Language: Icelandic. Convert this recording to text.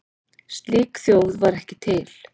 Slík þjóð var ekki til.